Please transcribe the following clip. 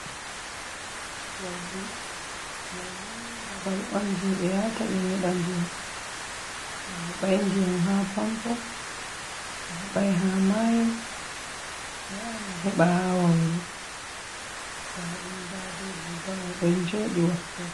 Wawru: Wawru ni babal on je ɓe yata be nyeɗa ndiyam. To aheɓai ndiyam ha pampo, aheɓai ha mayo, ayahan a heɓa ha wawru nda ɗum nda be guga mai ɗon joɗi wakkere.